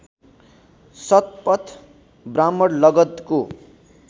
Shatapatha Brahmana लगधको